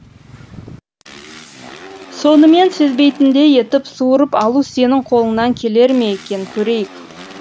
соны мен сезбейтіндей етіп суырып алу сенің қолыңнан келер ме екен көрейік